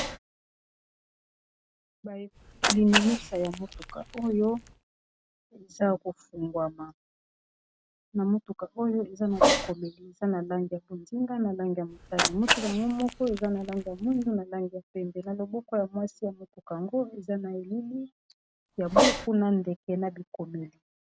balinimisa ya motuka oyo eza kofungwama na motuka oyo eza na bikomeli eza na lange ya konzinga na lange ya motane. motuka yango moko eza na lange ya mwindu na langi ya pembe na loboko ya mwasi ya motuka ango eza na elili ya buku na ndeke na bikomeli